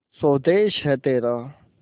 स्वदेस है तेरा